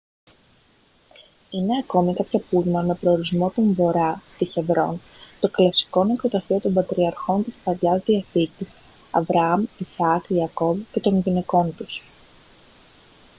είναι ακόμη κάποια πούλμαν με προορισμό τον βορά στη χεβρόν το κλασικό νεκροταφείο των πατριαρχών της παλαιάς διαθήκης αβραάμ ισαάκ ιακώβ και των γυναικών τους